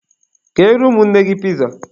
Keere ụmụnne gị piza!